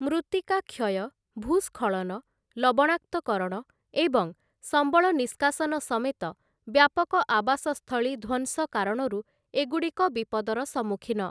ମୃତ୍ତିକା କ୍ଷୟ, ଭୂସ୍ଖଳନ, ଲବଣାକ୍ତକରଣ ଏବଂ ସମ୍ବଳ ନିଷ୍କାସନ ସମେତ ବ୍ୟାପକ ଆବାସସ୍ଥଳୀ ଧ୍ୱଂସ କାରଣରୁ ଏଗୁଡ଼ିକ ବିପଦର ସମ୍ମୁଖୀନ ।